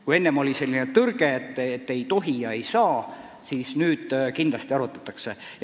Kui enne oli nagu tõrge, et ei tohi ja ei saa, siis nüüd kindlasti asja arutatakse.